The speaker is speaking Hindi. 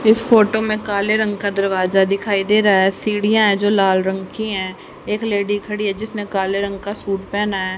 इस फोटो में काले रंग का दरवाजा दिखाई दे रहा है सीढ़ियां है जो लाल रंग की है एक लेडी खड़ी है जिसने काले रंग का सूट पेहना है।